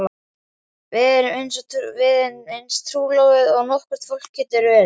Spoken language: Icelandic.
Við erum eins trúlofuð og nokkurt fólk getur verið.